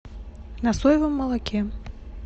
на соевом молоке